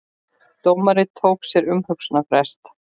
Dómari tók sér umhugsunarfrest